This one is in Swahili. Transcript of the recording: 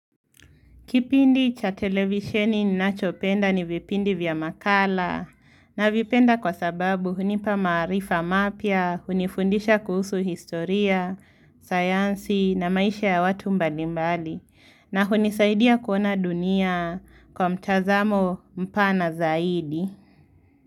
Kipindi cha televisheni ninachopenda ni vipindi vya makala navipenda kwa sababu hunipa maarifa mapya, hunifundisha kuhusu historia, sayansi na maisha ya watu mbalimbali na hunisaidia kuona dunia kwa mtazamo mpana zaidi.